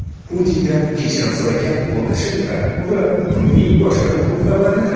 Putindan kechirim so‘ragan Lukashenko va kunning boshqa muhim xabarlari.